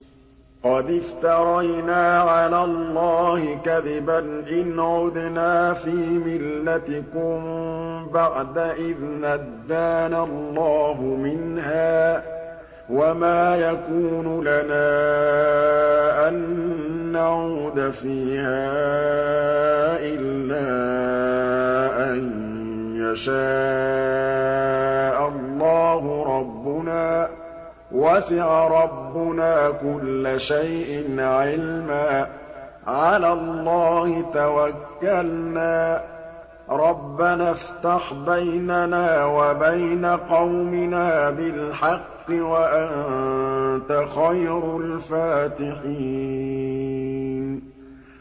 قَدِ افْتَرَيْنَا عَلَى اللَّهِ كَذِبًا إِنْ عُدْنَا فِي مِلَّتِكُم بَعْدَ إِذْ نَجَّانَا اللَّهُ مِنْهَا ۚ وَمَا يَكُونُ لَنَا أَن نَّعُودَ فِيهَا إِلَّا أَن يَشَاءَ اللَّهُ رَبُّنَا ۚ وَسِعَ رَبُّنَا كُلَّ شَيْءٍ عِلْمًا ۚ عَلَى اللَّهِ تَوَكَّلْنَا ۚ رَبَّنَا افْتَحْ بَيْنَنَا وَبَيْنَ قَوْمِنَا بِالْحَقِّ وَأَنتَ خَيْرُ الْفَاتِحِينَ